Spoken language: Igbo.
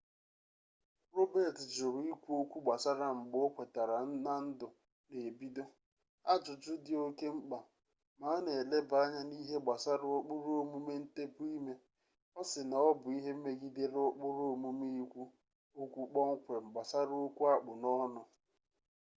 robets jụrụ ikwu okwu gbasara ngbe okwetara na ndụ n'ebido ajụjụ dị oke mkpa ma a na eleba anya n'ihe gbasara ụkpụrụ omume ntepụ ime ọ sị na ọ bụ ihe megidere ụkpụrụ omume ikwu okwu kpọmkwem gbasara okwu akpụ n'ọnụ